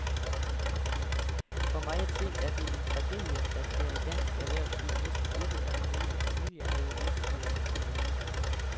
For mig at se er det en tragedie, at der i dansk erhvervsliv næsten ikke er nogle familieejede virksomheder tilbage.